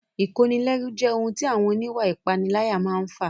Ìkónilẹ́rú jẹ́ ohun tí àwọn oníwà ìpániláyà máa n fà